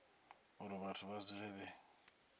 uri vhathu vha dzule vhe